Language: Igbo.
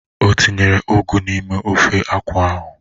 O tinyere ụgụ n'ime ofe akwụ ahụ?